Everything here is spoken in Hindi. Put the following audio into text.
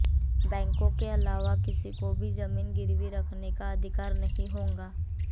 बैंकों के अलावा किसी को भी जमीन गिरवी रखने का अधिकार नहीं होगा